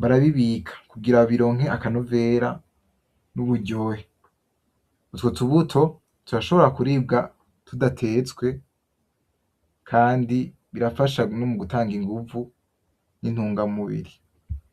barabibika kugira bironke akanovera nuburyohe. Utwo tubuto turashobora kuribwa tudatetswe, kandi birafasha nogutanga inguvu ni ntungamubiri.